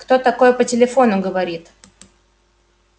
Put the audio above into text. кто такое по телефону говорит